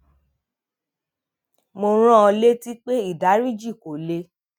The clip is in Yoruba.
mo rán an létí pé ìdáríjì kò lè